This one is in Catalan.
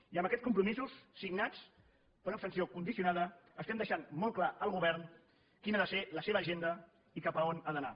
i amb aquests compromisos signats per una abstenció condicionada estem deixant molt clar al govern quina ha de ser la seva agenda i cap a on ha d’anar